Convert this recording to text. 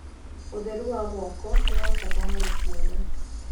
ũtheru wa moko niwa bata harĩ ciana